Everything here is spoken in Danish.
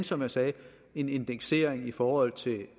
som jeg sagde en indeksering i forhold til